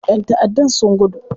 ƴan taʼaddan sun gudu.